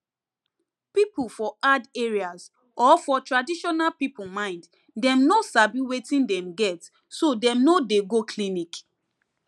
people for hard areas or for traditional people mind dem no sabi wetin dem get so dem no dey go clinic